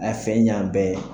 A fɛ yan bɛɛ